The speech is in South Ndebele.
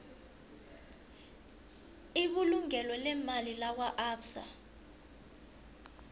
ibulungo leemali lakwaabsa